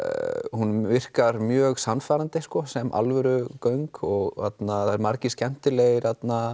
hún virkar mjög sannfærandi sem alvöru göng og það eru margir skemmtilegir